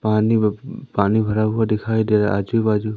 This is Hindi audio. पानी व पानी भरा हुआ दिखाई दे रहा है आजू बाजू--